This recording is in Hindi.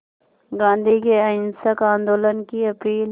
गांधी के अहिंसक आंदोलन की अपील